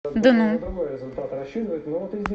дну